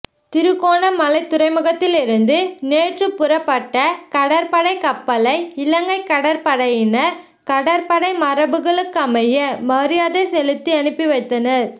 திருகோணமலை துறைமுகத்திலிருந்து நேற்று புறப்பட்ட கடற்படை கப்பலை இலங்கை கடற்படையினர் கடற்படை மரபுகளுக்கமைய மரியாதை செலுத்தி அனுப்பிவைத்தனர்